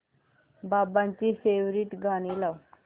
बाबांची फेवरिट गाणी लाव